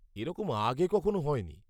এরকম আগে কখনও হয়নি।